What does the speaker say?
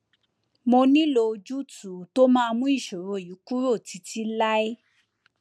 mo nílò ojútùú tó máa mú ìṣòro yìí kúrò títí láé